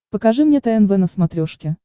покажи мне тнв на смотрешке